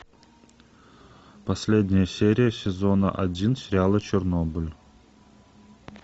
последняя серия сезона один сериала чернобыль